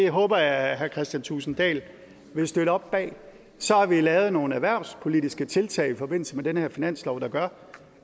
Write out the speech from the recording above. det håber jeg herre kristian thulesen dahl vil støtte op bag så har vi lavet nogle erhvervspolitiske tiltag i forbindelse med den her finanslov der gør